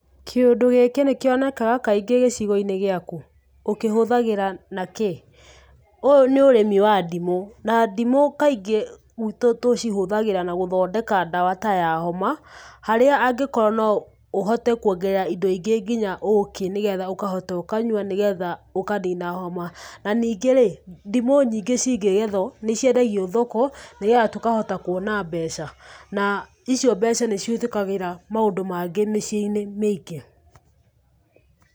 Kĩundũ gĩkĩ nĩ kĩonekaga kaingĩ gĩcigo-inĩ gĩaku? ũkĩhũthĩraga nakĩĩ?_ Ũyũ nĩ ũrĩmi wa ndimũ na ndimũ kaingĩ gwitũ tũcihũthagĩra na gũthondeka ndawa ta ya homa. Harĩa angĩkorwo noũhote kũongerera indo ingĩ nginya ũũki nĩgetha ũkahota ũkanyua ũkanina homa. Na nĩngĩ rĩ ndimũ nyingi cingĩgethwo nociendagio thoko nĩgetha tũkahota kũona mbeca na icio mbeca nĩcihũthĩkagĩra maũndũ maingĩ miciĩ-inĩ mĩingĩ.